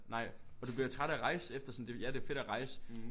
Nej og du bliver træt af at rejse efter sådan det jo ja det er fedt at rejse